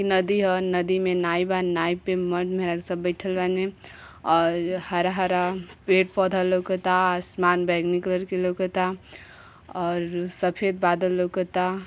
नदी ह नदी में नाय बा। नाय पे मरद मेहरारू सब बईठल बानी और हरा-हरा पेड़-पौधा लउकता आसमान बैगनी कलर के लउकता और सफेद बादल लौकता।